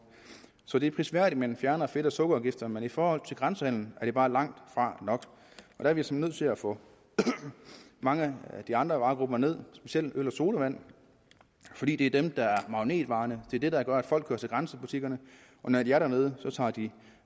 så det er prisværdigt at man fjerner fedt og sukkerafgiften men i forhold til grænsehandelen er det bare langtfra nok der er vi simpelt til at få mange af de andre varegrupper ned i specielt øl og sodavand fordi det er dem der er magnetvarerne det er dem der gør at folk kører til grænsebutikkerne og når de er dernede tager de en